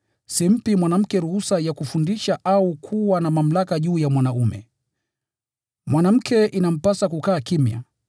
Simpi mwanamke ruhusa ya kufundisha au kuwa na mamlaka juu ya mwanaume. Mwanamke inampasa kukaa kimya.